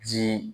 Ji